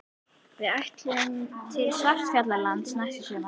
Við ætlum til Svartfjallalands næsta sumar.